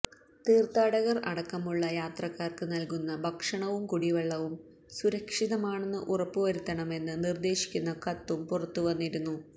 തീര്ഥാടകര് അടക്കമുള്ള യാത്രക്കാര്ക്ക് നല്കുന്ന ഭക്ഷണവും കുടിവെള്ളവും സുരക്ഷിതമാണെന്ന് ഉറപ്പുവരുത്തണമെന്ന് നിര്ദേശിക്കുന്ന കത്തും പുറത്തുവന്നിരുന്നു